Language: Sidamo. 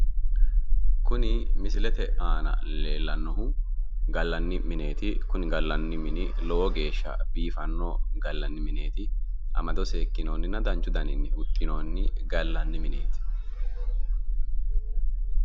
Kuni misilete aana leellannohu gallanni mineeti kuni gallanni mini lowo geesha biifanno gallanni mineeti amado seekkinoonninna danchu daninni huxxinoonni gallanni mineeti